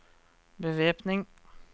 bevæpning